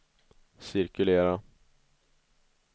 cirkulera